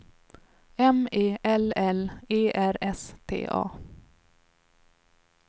M E L L E R S T A